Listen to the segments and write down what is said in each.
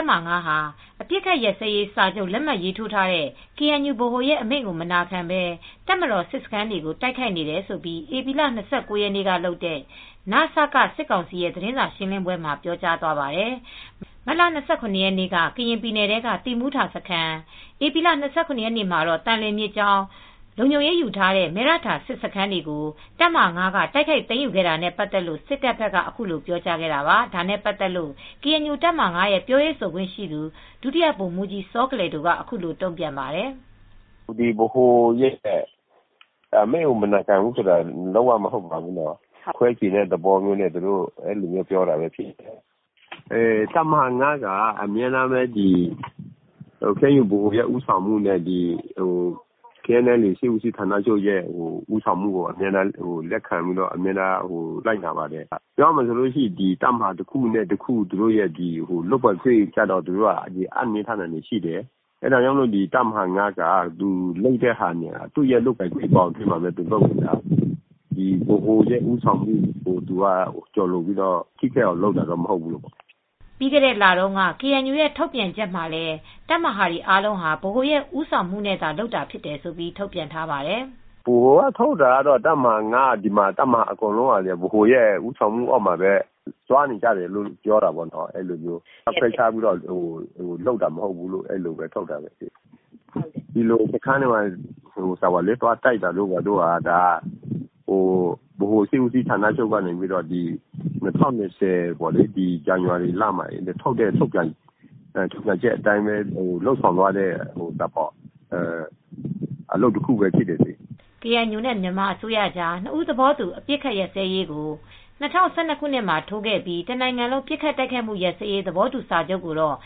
ပ်မဟာ ၅ ဟာ အပစ်အခတ်ရပ်စဲရေးစာချုပ် လက်မှတ်ထိုးထားတဲ့ KNU ဗဟိုရဲ့အမိန့်ကို မနာခံဘဲ တပ်မတော် စစ်စခန်းတွေကို တိုက်ခိုက်နေတယ်လို့ ဧပြီ ၂၉ ရက်နေ့ကလုပ်တဲ့ နစက စစ်ကောင်စီရဲ့ သတင်းစာရှင်းပွဲမှာ ပြောကြားသွားပါတယ်။ မတ်လ ၂၇ ရက်နေ့က ကရင်ပြည်နယ်ထဲက သီးမူထစခန်း၊ ဧပြီလ ၂၇ ရက်နေ့မှာ သံလွင်မြစ်ကြောင်းလုံခြုံရေးယူထားတဲ့ မယ့်ရထာစစ်စခန်းတွေကို တပ်မဟာ ၅ က တိုက်ခိုက်သိမ်းယူခဲ့တာနဲ့ ပတ်သက်လို့ စစ်ကောင်စီဘက်က ခုလို ပြောကြားခဲ့တာပါ။ ဒါနဲ့ပတ်သက်ပြီး ကေအန်ယူ တပ်မဟာ ၅ ရဲ့ပြောရေးဆိုခွင့်ရှိသူ ဒုတိယဗိုလ်မူးကြီးစောကလယ်ဒိုက အခုလို တုံ့ပြန်ပါတယ်။ "ဗဟိုရဲ့အမိန့်ကိုမနာခံဘူးဆိုတာ လုံးဝမဟုတ်ပါဘူးနော်။ ခွဲချင်တဲ့သဘောနဲ့ ဒီလိုမျိုးပြောတာဖြစ်မယ်။ တပ်မဟာ ၅ က ကေအန်ယူဗဟိုရဲ့ဦးဆောင်မူနဲ့ KNLA စစ်ဦးစီးဌာနရဲ့ ဦးဆောင်မှုကိုအမြဲတမ်းလက်ခံပြီး အမြဲတမ်းလိုက်နာပါတယ်။ ပြောရမယ်ဆိုရင် တပ်မဟာတခုနဲ့တခု လုပ်ပိုင်ခွင့်ကိုအင်နှင်းထားတာရှိတယ်။ တပ်မဟာ ၅ ဟာ သူ့ရဲ့လုပ်ပိုင်ခွ့င်နဲ့ လုပ်တာဖြစ်တယ်။ တပ်မဟာ ၅ ဟာသူ့ရဲ့လုပ်ပိုင်ခွင့်ဘောင်အရသာ လုပ်တာဖြစ်တယ်။ ဗဟိုရဲ့ဦးဆောင်မှုကို ကျော်လွန်ပြီးထိခိုက်အောင်လုပ်တာမဟုတ်ဘူး။" ပြီးခဲ့တဲ့လတုန်းက ကေအန်ယူရဲ့ ထုတ်ပြန်ချက်မှာလည်း တပ်မဟာတွေအားလုံးဟာ ဗဟိုရဲ့ ဦးဆောင်မူနဲ့သာလုပ်တယ်လို့ ထုတ်ပြန်ထားတာကိုလည်း ဒုဗိုလ်မှူးကြီးစောကလယ်ဒိုက ထောက်ပြပါတယ်။ "ဗဟိုကထုတ်တာကတော့ တပ်မဟာ ၅ ကော တပ်မဟာအားလုံးက ဗဟိုရဲ့ဦးဆောင်မူနဲ့လုပ်တာဖြစ်တယ်၊ ခွဲခြားပြီးလုပ်တာမဟုတ်ဘူးလို့ ထုတ်ပြန်ထားတယ်။ စခန်းတွေဘာတွေ တိုက်တာကတော့ ဗဟိုရဲ့၂၀၂၀ ဇန်နဝါရီလမှ ာ ထုတ်ပြန်ချက်အတိုင်း လုပ်ဆောင်တာဖြစ်ပါတယ်။" ကေအန်ယူနဲ့မြန်မာအစိုးရကြား နှစ်ဘက်သဘောတူ အပစ်အခတ်ရပ်စဲရေးကို ၂၀၁၂ ခုနှစ်မှာ ထိုးခဲ့ပြီး တနိုင်ငံလုံး ပစ်ခတ်တိုက်ခတ်မူရပ်စဲရေး သဘောတူစာချုပ်ကိုတော့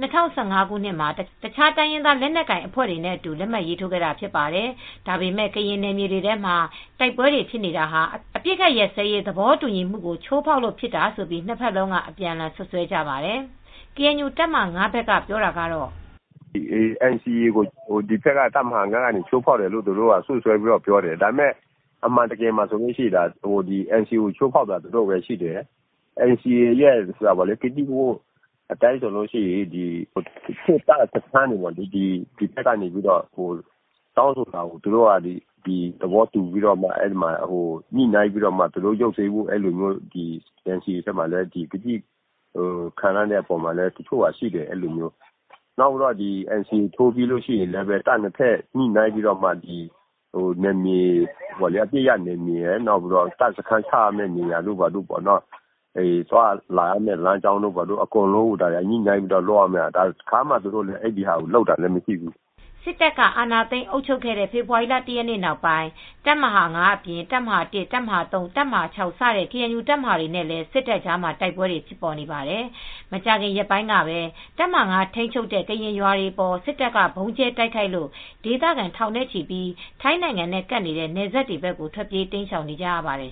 ၂၀၁၅ ခုနှစ်မှာ တခြားတိုင်းရင်းသား လက်နက်ကိုင်အဖွဲ့တွေနဲ့အတူ လက်မှတ်ရေးထိုးခဲ့တာဖြစ်ပါတယ်။ ဒါပေမဲ့ ကရင်နယ်မြေတွေထဲမှာ တိုက်ပွဲတွေဖြစ်နေတာဟာ အပစ်အခတ်ရပ်စဲရေး သဘောတူညီမှုကို ချိုးဖောက်တာကြောင့့်ဖြစ်တယ်လို့ နှစ်ဘက်လုံးက အပြန်အလှန် စွပ်စွဲကြပါတယ်။ တပ်မဟာ ဘက်ကပြောတာကတော့ - "NCA ကို တပ်မဟာ ၅ က ချိုးဖောက်တယ်ဆိုပြီး စွပ်စွဲပြောတာဖြစ်တယ်။ ဒါပေမယ့် အန်စီအေ ကိုချိုးဖောက်တာ သူတို့ပဲဖြစ်တယ်။ NCA ရဲ့ကတိကဝတ်အတိုင်းဆိုရင် စစ်တပ်စခန်းတွေကို ဒီဘက်တောင်းဆိုတဲ့အတိုင်း သဘောတူညှိနိုင်းဖို့ ရုပ်သိမ်းပေးဖို့ ကတိခံထားတာရှိတယ်။ အန်စီအေ ထိုးပြီးရင် အပစ်ရပ်နယ်မြေရဲ့တပ်စခန်းချရမယ့်ဟာတွေရယ် သွားလာရမယ့်နယ်မြေတွေကို သူတို့ညှိနိုင်းပြီးလုပ်ရမှာ တခါမှညှိနှိုင်းတာမရှိဘူး။" စစ်တပ်က အာဏာသိမ်း အုပ်ချုပ်ခဲ့တဲ့ ဖေဖော်ဝါရီလ ၁ ရက်နေ့ နောက်ပိုင်း တပ်မဟာ ၅ အပြင် တပ်မဟာ ၁၊ ၃၊ ၆ စတဲ့ ကေအန်ယူ တပ်မဟာတွေနဲ့လည်း စစ်တပ်ကြားမှာ တိုက်ပွဲတွေဖြစ်နေပါတယ်။ မကြာခင်ရက်ပိုင်းကပဲ တပ်မဟာ ၅ ထိန်းချုပ်မှုအောက်မှာရှိတဲ့ ကရင်ကျေးရွာတွေအပေါ် စစ်တပ်က ဗုံးကြဲတိုက်ခိုက်လို့ ဒေသခံ ထောင်နဲ့ချီ ထိုင်းနိုင်ငံနဲ့ကပ်နေတဲ့ နယ်စပ်ဘက်တွေကို ထွက်ပြေးတိမ်းရှောင်နေကြရပါတယ်